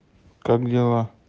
как дела